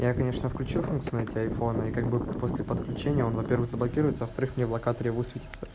я конечно включил функцию найти айфон и как бы после подключения он во-первых заблокируется во-вторых в локатаре высветится